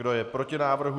Kdo je proti návrhu?